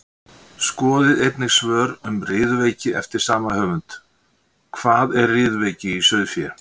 Skoðið einnig önnur svör um riðuveiki eftir sama höfund: Hvað er riðuveiki í sauðfé?